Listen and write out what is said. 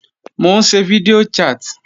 Mò ń ṣe fídíò chat